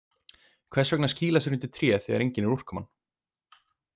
Hvers vegna að skýla sér undir tré þegar engin er úrkoman?